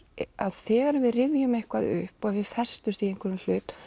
að þegar við rifjum eitthvað upp festumst í einhverju